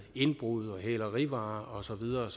indbrud hælerivarer og så videre